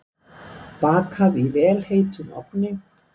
Bakað í vel heitum ofni.